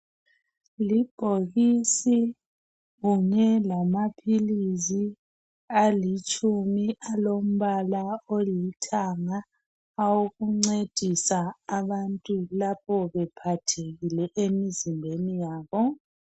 Libhokisi kunye lamaphilisi alitshumi alombala olithanga awokuncedisa abantu lapho bephathekile emizimbeni yabo.